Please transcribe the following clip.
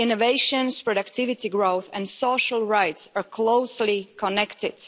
Innovation, productivity growth and social rights are closely connected.